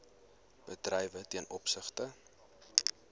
bedrywe ten opsigte